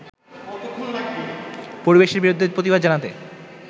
পরিবেশের বিরুদ্ধে প্রতিবাদ জানাতে